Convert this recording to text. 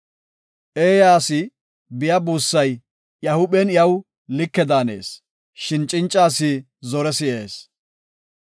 Eeya asi biya buussay aw iya huuphen like daanees; shin cinca asi zore si7ees.